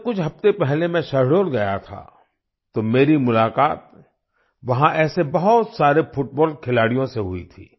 जब कुछ हफ्ते पहले मैं शहडोल गया था तो मेरी मुलाक़ात वहां ऐसे बहुत सारे फुटबॉल खिलाड़ियों से हुई थी